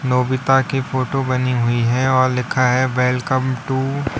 की फोटो बनी हुई है और लिखा है वेलकम टू --